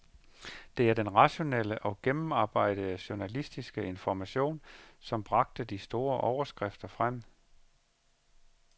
Det var den rationelle og gennemarbejdede journalistiske information, som bragte de store overskrifter frem.